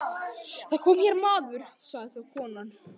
Það kom hér maður, sagði þá konan.